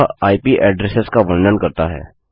वह IP address का वर्णन करता है